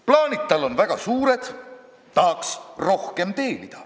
Plaanid tal on väga suured, tahaks rohkem teenida.